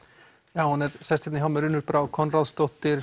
já hún er sest hérna hjá mér Unnur Brá Konráðsdóttir